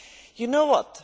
You know what?